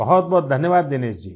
बहुत बहुत धन्यवाद दिनेश जी